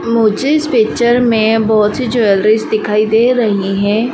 मुझे इस पिक्चर में बहुत सी ज्वेलरीज दिखाई दे रही हैं।